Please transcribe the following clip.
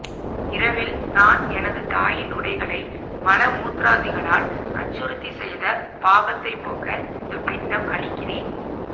இரவில் நான் எனது தாயின் உடைகளை மல மூத்ராதிகளால் அசுத்தி செய்த பாபத்தை போக்க இந்த பிண்டம் அளிக்கிறேன்